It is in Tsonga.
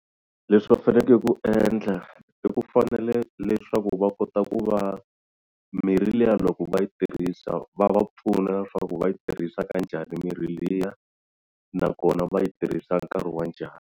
Leswi va fanele ku endla i ku fanele leswaku va kota ku va mirhi liya loko va yi tirhisa va va pfuna leswaku va yi tirhisa ka njhani mirhi liya nakona va yi tirhisa nkarhi wa njhani.